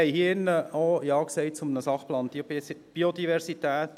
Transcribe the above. Wir haben hier drin auch Ja gesagt zu einem Sachplan Biodiversität.